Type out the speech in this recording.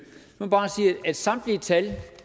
må jeg bare sige at samtlige tal